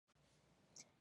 ny hena dia karazan-